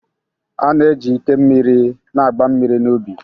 A na-eji ike mmiri na-agba mmiri n'ubi